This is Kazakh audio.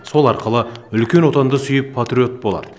сол арқылы үлкен отанды сүйіп патриот болар